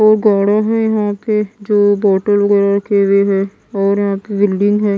जो बॉटल वगैरा रखे हुए हैं और यहां पे बिल्डिंग है।